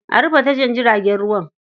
A rufe tashar jiragen ruwan.